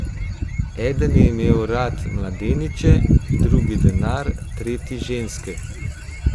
Eden je imel rad mladeniče, drugi denar in tretji ženske.